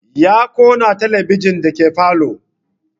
Ya kunna talabijin dake falo